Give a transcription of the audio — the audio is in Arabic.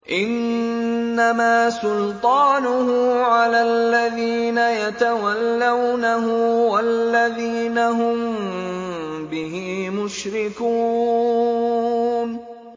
إِنَّمَا سُلْطَانُهُ عَلَى الَّذِينَ يَتَوَلَّوْنَهُ وَالَّذِينَ هُم بِهِ مُشْرِكُونَ